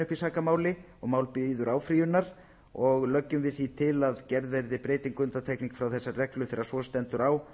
í sakamáli og mál bíður áfrýjunar og leggjum við því til að gerð verði breyting og undantekning frá þessari reglu þegar svo stendur á